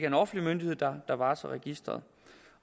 en offentlig myndighed der der varetager registeret